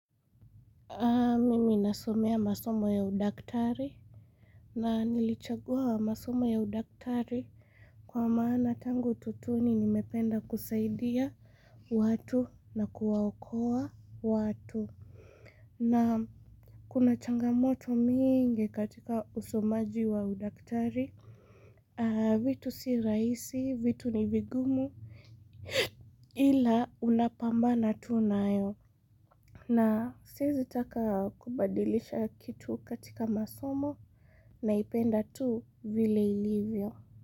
Mimi nasomea masomo ya udaktari. Na nilichagua masomo ya udaktari. Kwa maana tangu utotoni nimependa kusaidia watu na kuwaokoa watu. Na kuna changamoto mingi katika usomaji wa udaktari. Vitu si rahisi, vitu ni vigumu. Ila unapambana tu nayo. Na siwezi taka kubadilisha kitu katika masomo naipenda tu vile ilivyo.